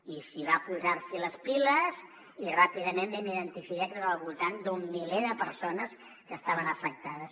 i es va posar les piles i ràpidament vam identificar que eren al voltant d’un miler de persones que estaven afectades